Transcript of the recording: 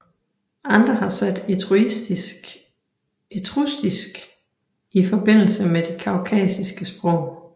Andre har sat etruskisk i forbindelse med de kaukasiske sprog